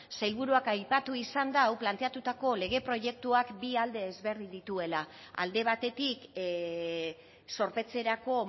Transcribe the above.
sailburuak aipatu izan du planteatutako lege proiektuak bi alde ezberdin dituela alde batetik zorpetzerako